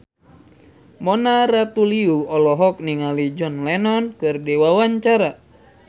Mona Ratuliu olohok ningali John Lennon keur diwawancara